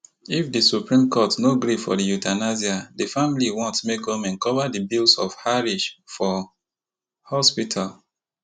if di supreme court no gree for di euthanasia di family want make goment cover di bills of harish for hospital